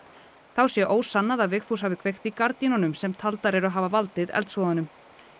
þá sé ósannað að Vigfús hafi kveikt í gardínunum sem taldar eru hafa valdið eldsvoðanum